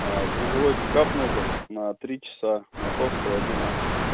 грузовой пикап нужен на три часа маяковского один а